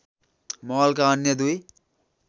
महलका अन्‍य दुई